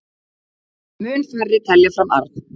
Mun færri telja fram arð